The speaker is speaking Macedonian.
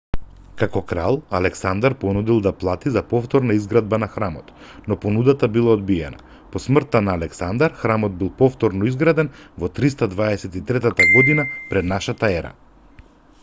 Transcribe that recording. како крал александар понудил да плати за повторна изградба на храмот но понудата била одбиена по смртта на александар храмот бил повторно изграден во 323 година пр н е